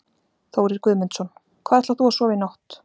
Þórir Guðmundsson: Hvar ætlar þú að sofa í nótt?